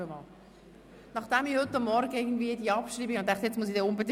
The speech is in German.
Wir kommen zu den Traktanden 23 und 24.